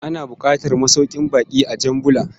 Ana buƙatar masaukin bakƙi a Jan Bula.